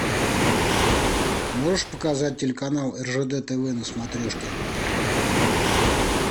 можешь показать телеканал ржд тв на смотрешке